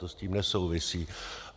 To s tím nesouvisí.